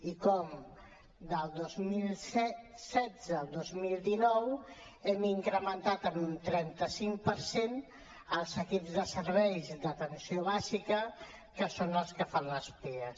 i com del dos mil setze al dos mil dinou hem incrementat un trenta cinc per cent els equips de serveis d’atenció bàsica que són els que fan els pias